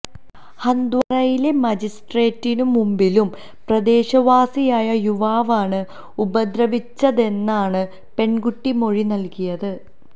ഹന്ദ്വാരയിലെ മജിസ്ട്രേറ്റിനു മുമ്പിലും പ്രദേശവാസിയായ യുവാവാണ് ഉപദ്രവിച്ചതെന്നാണ് പെണ്കുട്ടി മൊഴി നല്കിയത്